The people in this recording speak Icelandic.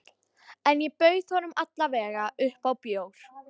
En ég bauð honum alla vega upp á bjór.